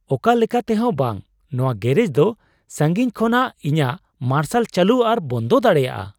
ᱚᱠᱟ ᱞᱮᱠᱟ ᱛᱮᱦᱚᱸ ᱵᱟᱝ ! ᱱᱚᱣᱟ ᱜᱮᱨᱮᱡᱽ ᱫᱚ ᱥᱟᱺᱜᱤᱧ ᱠᱷᱚᱱᱟᱜ ᱤᱧᱟᱹᱜ ᱢᱟᱨᱥᱟᱞ ᱪᱟᱹᱞᱩ ᱟᱨ ᱵᱚᱱᱫᱚ ᱫᱟᱲᱮᱭᱟᱜ ᱟᱭ ?